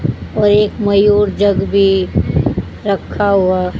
और एक मयूर जग भी रखा हुआ--